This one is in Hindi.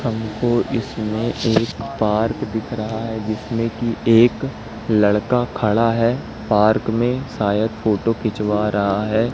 हमको इसमे एक पार्क दिख रहा है जिसमे की एक लड़का खड़ा है पार्क मे शायद फोटो खिचवा रहा हैं।